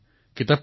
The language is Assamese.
জিজ্ঞাসাৰ বাবে